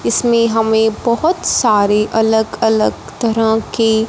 इसमें हमें बहोत सारे अलग अलग तरह की--